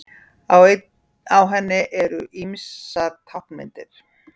Á henni eru ýmsar táknmyndir.